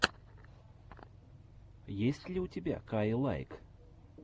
есть ли у тебя каилайк